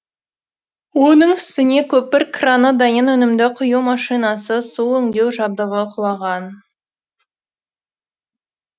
оның үстіне көпір краны дайын өнімді құю машинасы су өңдеу жабдығы құлаған